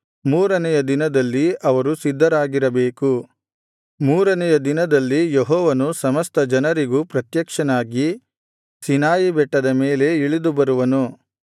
ಮೂರನೆಯ ದಿನದಲ್ಲಿ ಅವರು ಸಿದ್ಧರಾಗಿರಬೇಕು ಮೂರನೆಯ ದಿನದಲ್ಲಿ ಯೆಹೋವನು ಸಮಸ್ತ ಜನರಿಗೂ ಪ್ರತ್ಯಕ್ಷನಾಗಿ ಸೀನಾಯಿ ಬೆಟ್ಟದ ಮೇಲೆ ಇಳಿದು ಬರುವನು